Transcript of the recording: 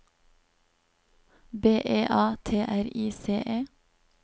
B E A T R I C E